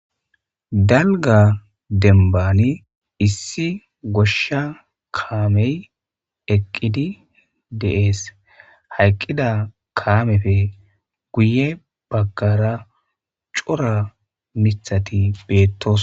Dalga dembani issi goshsha kaamey eqqidi deees hayqqida kaamefe guye baggara cora mithati beettos.